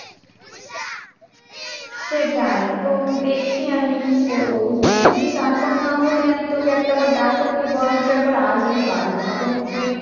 সেটাই তো দেখছি আমি কী করবো বুজিলি তো, যদি তারপর না হলে আমি তোকে একটাবার ডাকবো, তুই বরঞ্চ একবার আসবি বাড়িতে, তখন তুই